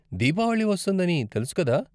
దీపావళి వస్తోందని తెలుసు కదా!